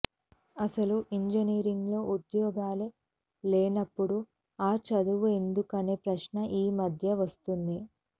అసలు ఇంజనీరింగులో ఉద్యోగాలే లేనపుడు ఆ చదువు ఎందుకనే ప్రశ్న ఈ మధ్య వస్తోంది